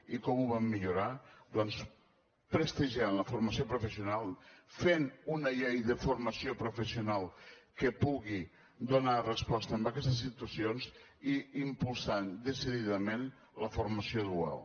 i com ho vam millorar doncs prestigiant la formació professional fent una llei de formació professional que pugui donar resposta en aquestes situacions i impulsant decididament la formació dual